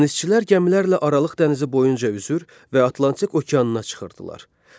Dənizçilər gəmilərlə Aralıq dənizi boyunca üzür və Atlantik okeanına çıxırdılar.